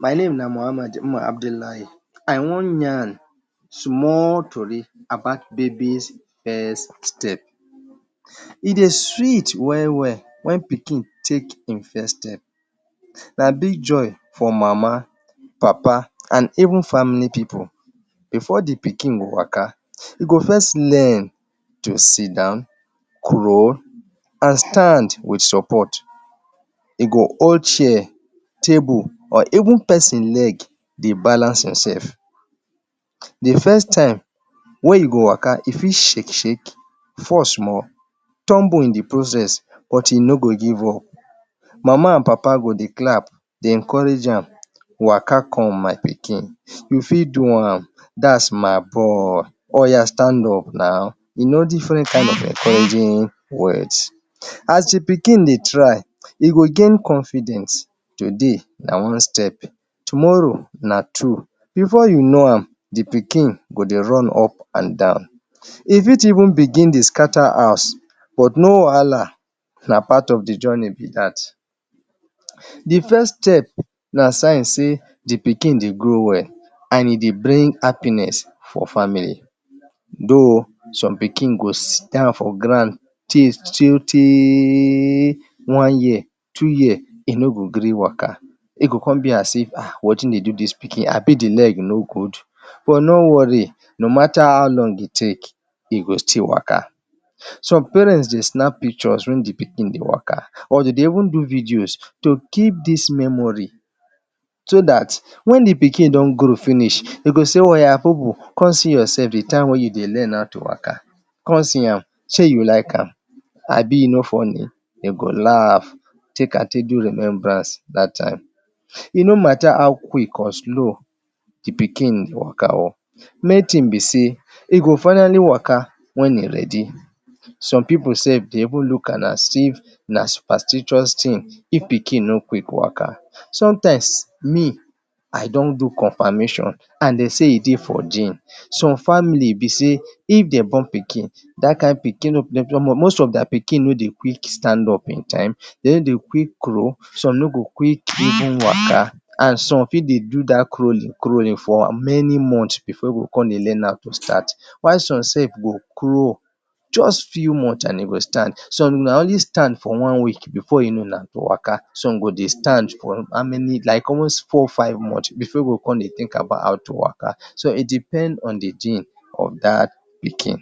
My name na Mohammed Umar Abdullahi, I wan yarn small tori about baby’s first step. E dey sweet well well when pikin take him first step. Na big big joy for Mama, Papa and even family people. Before de pikin go waka, e go first learn to sidon,, crawl and stand with support. E go hold chair, table or even person leg dey balance himself. De first tym wey e go waka, e fit shake shake, fall small, tumble in de process but e no go give up. Mama and Papa go dey clap dey encourage am,, “waka come my pikin, u fit do am, dat’s my boy, oya stand up naw”, you know different kinds of encouraging words. As de pikin dey try, e go gain confidence, today na one step,, tomorrow na two, before you know am, de pikin go de run up and down, e fit even begin dey scatter house but no wahala, na part of de journey be dat. De first step na sign sey de pikin de grow well and e dey bring happiness for family though some pikin go sidon for ground teyyyy one year, two years, e no go gree waka, e go come be as if ah, wetin dey do dis pikin, abi de leg no good but no worry, no mata how long e take, e go still waka. Some parents dey snap pictures when de pikin dey waka or dem dey even do videos to keep dis memory so dat when de pikin don grow finish, dem go sey oya Bubu, come see yourself de tym you dey learn how to waka, come see am, shey you like am, abi e no funny? Dem go laugh, take am take do remembrance dat tym. E no mata how quick or slow de pikin waka oo, main thing be sey, e go finally waka when e ready. Some people sef dey even look am as if na supersticious thing if pikin no quick waka. Sometimes me, I don do confirmation and dey sey e dey for gene. Some family be sey, if dem born pikin, dat kind pikin, most of their pikin no dey quick stand up in tym, dem no dey quick crawl, some no go quick even waka and some fit dey do dat crawling, crawling for many months before dem go come dey learn how to stand, while some sef go crawl just few months and e go stand, some na only stand for one week, before you know now, e go waka, some go dey stand for how many, like almost four five months before e go come dey think about how to waka so it depends on de gene of dat pikin